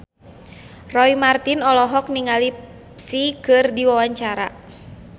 Roy Marten olohok ningali Psy keur diwawancara